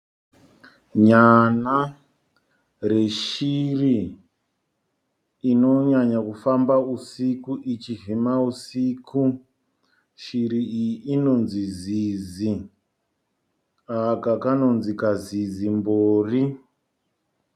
Nyana reshiri inonyanya kufamba usiku ichivhima usiku. Shiri iyi inonzi zizi. Aka kanonzi kazizimbori.